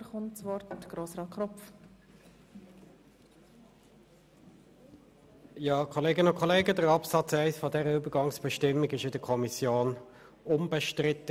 der BaK. Absatz 1 dieser Übergangsbestimmung war in der Kommission unbestritten.